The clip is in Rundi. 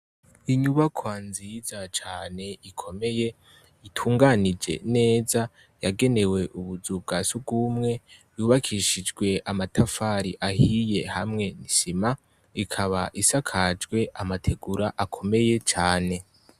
Inyubakwa nziza cane ikomeye itunganije neza yagenewe ubuzu bwa sugumwe ,yubakishijwe amatafari ahiye hamwe n'isima ikaba isakajwe amategura akomeye cane .